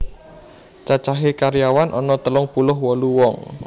Cacahe karyawan ana telung puluh wolu wong